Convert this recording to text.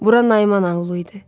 Bura Nayman aulu idi.